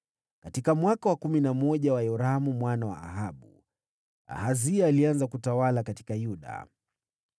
(Katika mwaka wa kumi na moja wa Yoramu mwana wa Ahabu, Ahazia alianza kutawala katika Yuda.)